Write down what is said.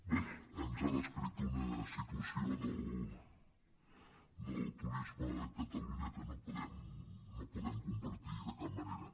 bé ens ha descrit una situació del turisme a catalunya que no podem compartir de cap manera